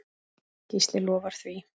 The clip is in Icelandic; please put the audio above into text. Gísli lofar því.